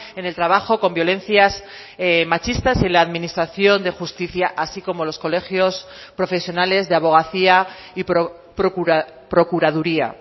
en el trabajo con violencias machistas y en la administración de justicia así como los colegios profesionales de abogacía y procuraduría